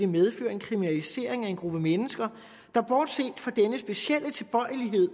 medføre en kriminalisering af en gruppe mennesker der bortset fra denne specielle tilbøjelighed